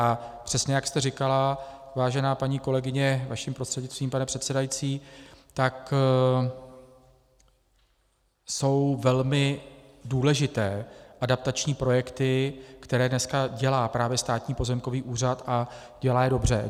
A přesně jak jste říkala, vážená paní kolegyně, vaším prostřednictvím, pane předsedající, tak jsou velmi důležité adaptační projekty, které dneska dělá právě Státní pozemkový úřad a dělá je dobře.